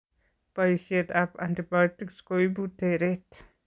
Boisiet ab antibiotics koibu tereet